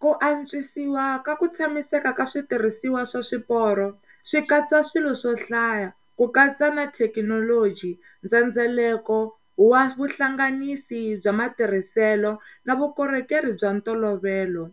Ku antswisiwa ka ku tshamiseka ka switirhisiwa swa swiporo swi katsa swilo swo hlaya ku katsa na thekinoji, ndzhendzheleko wa vuhlanganisi bya matirhiselo na vukorhokeri bya ntolovelo.